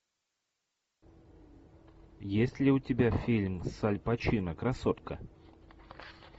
есть ли у тебя фильм с аль пачино красотка